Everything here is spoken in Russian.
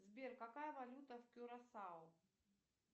сбер какая валюта в кюрасао